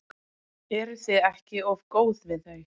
Eruð þið ekki of góð við þau?